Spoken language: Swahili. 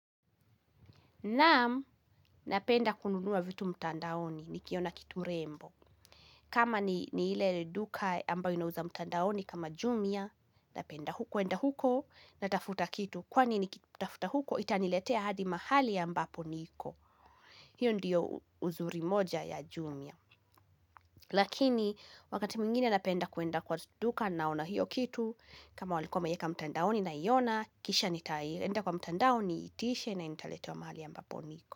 Naam, napenda kununua vitu mtandaoni nikiona kitu rembo. Kama ni ile duka ambayo inauza mtandaoni kama jumia, napenda huko, kuenda huko natafuta kitu. Kwani nikitafuta huko, itaniletea hadi mahali ambapo niko. Hiyo ndiyo uzuri moja ya jumia. Lakini, wakati mwingine napenda kuenda kwa duka naona hiyo kitu, kama walikuwa wameieka mtandaoni naiona, kisha nitaenda kwa mtandaoni, niitishe na nitaletewa mahali ambapo niko.